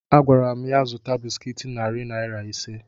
Agwara m ya zụta bịsịkịt narị naira ise